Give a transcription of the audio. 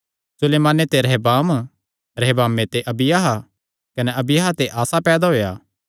सुलेमाने ते रहबाम रहबामे ते अबिय्याह कने अबिय्याह ते आसा पैदा होएया